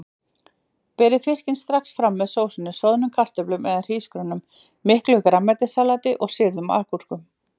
Berið fiskinn strax fram með sósunni, soðnum kartöflum eða hrísgrjónum, miklu grænmetissalati og sýrðum agúrkum.